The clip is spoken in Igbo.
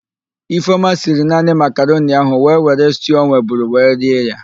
Ifeọma siri naani makaroni ahụ wee were stuu ọ nweburu wee rie ya.